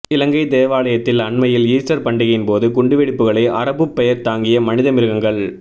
இலங்கை தேவாலயத்தில் அண்மையில் ஈஸ்டா் பண்டிகையின்போது குண்டுவெடிப்புகளை அரபுப் பெயா் தாங்கிய மனித மிருகங்கள்